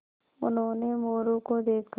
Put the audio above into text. उन्होंने मोरू को देखा